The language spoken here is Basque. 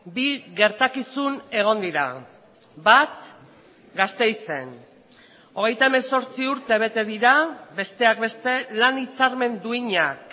bi gertakizun egon dira bat gasteizen hogeita hemezortzi urte bete dira besteak beste lan hitzarmen duinak